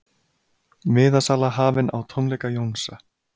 Miðasala hafin á tónleika Jónsa